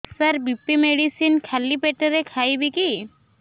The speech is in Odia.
ସାର ବି.ପି ମେଡିସିନ ଖାଲି ପେଟରେ ଖାଇବି କି